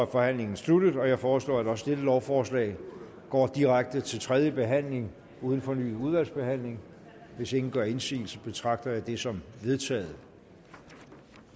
forhandlingen sluttet jeg foreslår at også dette lovforslag går direkte til tredje behandling uden fornyet udvalgsbehandling hvis ingen gør indsigelse betragter jeg det som vedtaget